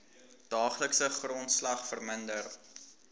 daaglikse grondslag verminder